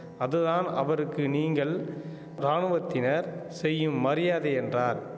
அதுதான் அவருக்கு நீங்கள் ராணுவத்தினர் செய்யும் மரியாதை என்றார்